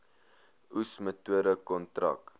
oes metode kontrak